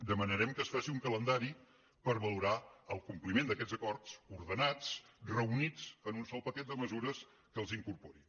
demanarem que es faci un calendari per valorar el compliment d’aquests acords ordenats reunits en un sol paquet de mesures que els incorpori